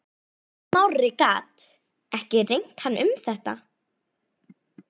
Smári gat ekki rengt hann um þetta.